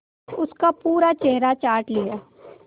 उसका पूरा चेहरा चाट लिया